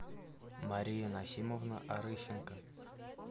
мария насимовна орыщенко